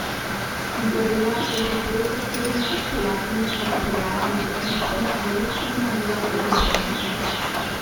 Izabela je pred poroko sedemnajst prijateljic odpeljala na dekliščino v luksuzno vilo v Dubrovniku.